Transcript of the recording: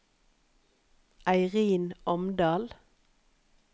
Eirin Omdal